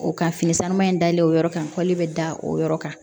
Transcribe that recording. O ka fini sanuma in dalen o yɔrɔ kan kɔli bɛ da o yɔrɔ kan